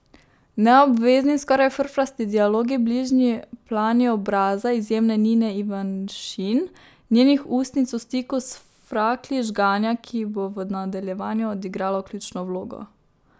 Neobvezni, skoraj frfrasti dialogi, bližnji plani obraza izjemne Nine Ivanišin, njenih ustnic v stiku s fraklji žganja, ki bo v nadaljevanju odigralo ključno vlogo.